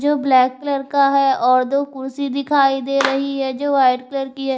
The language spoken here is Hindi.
यह ब्लैक कलर का है और दो कुर्सी दिखाई दे रही है जो वाइट कलर की है।